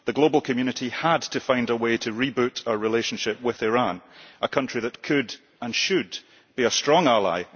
The global community had to find a way to reboot our relationship with Iran, a country that could, and should, be a strong ally.